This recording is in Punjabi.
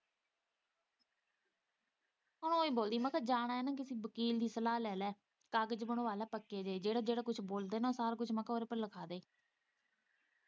ਹਾਂ ਇਹੀ ਬੋਲਦੀ ਮੈਂ ਕਿਹਾ ਜਾਣਾ ਏ ਨਾ ਕਿਸੇ ਵਕੀਲ ਦੀ ਸਲਾਹ ਲੈ ਲਈ ਕਾਗਜ਼ ਬਣਵਾ ਲੈ ਪੱਕੇ ਜਿਹੇ ਜਿਹੜਾ- ਜਿਹੜਾ ਕੁੱਝ ਬੋਲਦੇ ਨਾ ਸਾਰਾ ਕੁੱਝ ਉਹਦੇ ਤੇ ਲਿਖਵਾ ਦੇ